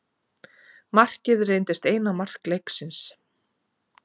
Markið reyndist eina mark leiksins.